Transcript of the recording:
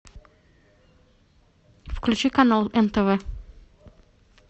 включи канал нтв